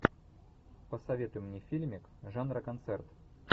посоветуй мне фильмик жанра концерт